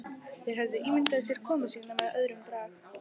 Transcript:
Þeir höfðu ímyndað sér komu sína með öðrum brag.